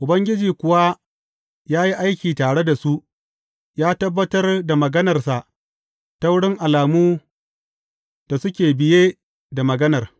Ubangiji kuwa ya yi aiki tare da su, ya tabbatar da maganarsa ta wurin alamu da suke biye da maganar.